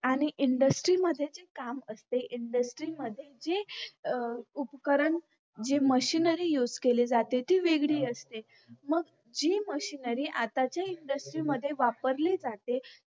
आणि industry मध्ये जे काम असते industry मध्ये जे अं उपकरण जे machinery use केले जाते ते वेगळी असते मग जी machinery आताच्या industry वापरले जाते